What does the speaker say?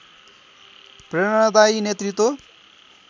प्रेरणादायी नेतृत्व